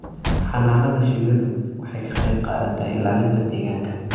Xannaanada shinnidu waxay ka qayb qaadataa ilaalinta deegaanka.